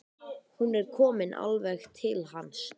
Hún er komin alveg til hans.